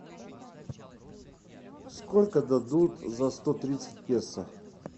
сколько дадут за сто тридцать песо